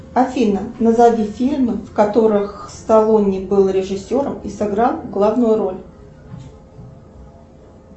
афина назови фильмы в которых сталлоне был режиссером и сыграл главную роль